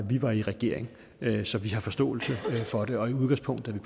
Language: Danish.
vi var i regering så vi har forståelse for det og i udgangspunktet er